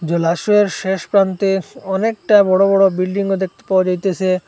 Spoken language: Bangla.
জলাশয়ের শেষ প্রান্তে অনেকটা বড় বড় বিল্ডিংও দেখতে পাওয়া যাইতেসে।